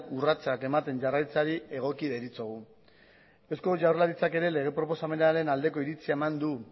urratsak ematen jarraitzeari egokia deritzogu eusko jaurlaritzak ere lege proposamenaren aldeko iritzia eman du